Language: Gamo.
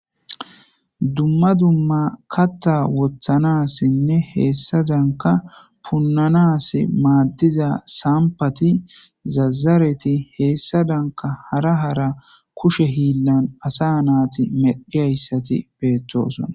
Dumma dumma katta wothanassinne heessa danka punnanas maaddiza sampati zazareti heessa danka hara hara kushe hiinnan asa naati medhiyayssati beettosona.